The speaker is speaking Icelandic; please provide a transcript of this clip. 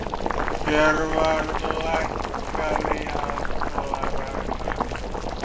Hjörvar, lækkaðu í hátalaranum.